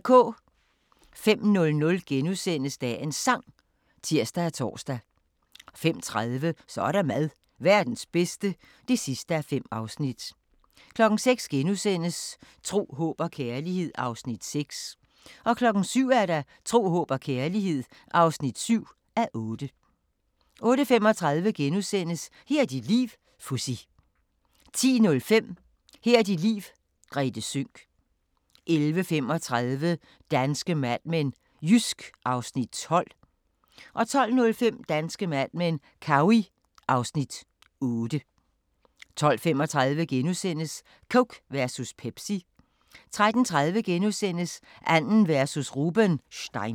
05:00: Dagens Sang *(tir og tor) 05:30: Så er der mad – Verdens bedste (5:5) 06:00: Tro, håb og kærlighed (6:8)* 07:00: Tro, håb og kærlighed (7:8) 08:35: Her er dit liv - Fuzzy * 10:05: Her er dit liv - Grethe Sønck 11:35: Danske Mad Men: Jysk (Afs. 12) 12:05: Danske Mad Men: Cowey (Afs. 8) 12:35: Coke versus Pepsi * 13:30: Arden versus Rubenstein *